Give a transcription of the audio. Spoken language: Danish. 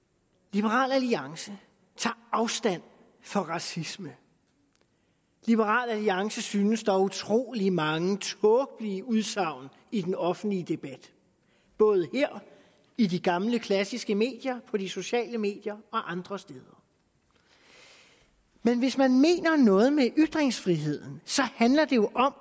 liberal alliance tager afstand fra racisme liberal alliance synes at der er utrolig mange tåbelige udsagn i den offentlige debat både i de gamle klassiske medier på de sociale medier og andre steder men hvis man mener noget med ytringsfriheden handler det jo om